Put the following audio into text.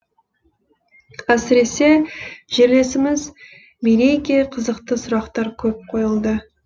әсіресе жерлесіміз мерейге қызықты сұрақтар көп қойылды